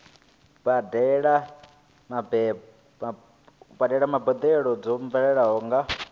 badela mbadelo dzo bveledzwaho nga